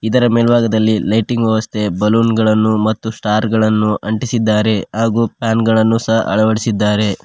ಇದರ ಮೇಲ್ಬಾಗದಲ್ಲಿ ಲೈಟ್ಟಿಂಗ್ ವ್ಯವಸ್ಥೆ ಬಲೂನ್ ಗಳನ್ನು ಮತ್ತು ಸ್ಟಾರ್ ಗಳನ್ನು ಅಂಟಿಸಿದ್ದಾರೆ ಹಾಗೂ ಫ್ಯಾನ್ ಗಳನ್ನು ಸಹ ಅಳವಡಿಸಿದ್ದಾರೆ.